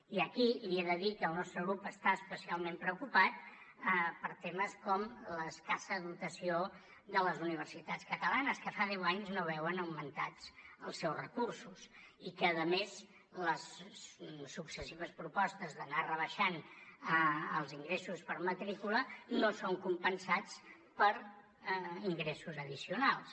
i aquí li he de dir que el nostre grup està especialment preocupat per temes com l’escassa dotació de les universitats catalanes que fa deu anys que no veuen augmentats els seus recursos i que a més les successives propostes d’anar rebaixant els ingressos per matrícula no són compensats per ingressos addicionals